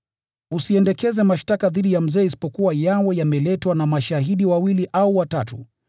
Usiendekeze mashtaka dhidi ya mzee isipokuwa yawe yameletwa na mashahidi wawili au watatu.